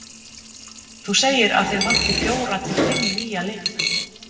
Þú segir að þig vanti fjóra til fimm nýja leikmenn?